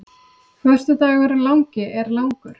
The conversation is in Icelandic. Föstudagurinn langi er langur.